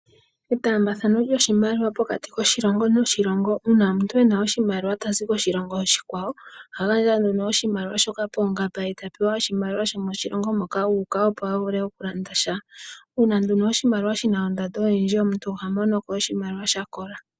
Etambathano lyoshimaliwa pokati koshilongo noshilongo uuna omuntu ena oshimaliwa tazi koshilongo oshikwawo ohagandja oshimaliwa shoka poongamba ye eta pewa oshimaliwa shomoshilongo moka uka opo avule okulanda sha. Uuna nduno oshimaliwa shina ondando oyindji omuntu ohamonoko oshimaliwa shakola.